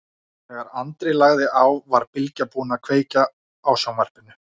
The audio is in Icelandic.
Þegar Andri lagði á var Bylgja búin að kveikja á sjónvarpinu.